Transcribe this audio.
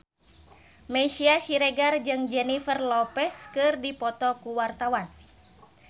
Meisya Siregar jeung Jennifer Lopez keur dipoto ku wartawan